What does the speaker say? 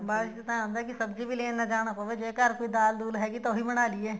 ਬਾਰਿਸ਼ ਚ ਤਾਂ ਏਵੇਂ ਹੁੰਦਾ ਸਬਜ਼ੀ ਵੀ ਲੈਣ ਨਾ ਜਾਣਾ ਪਵੇ ਜੇ ਘਰ ਕੋਈ ਦਾਲ ਦੂਲ ਹੈਗੀ ਹੈ ਤਾਂ ਉਹੀ ਬਣਾਲੋ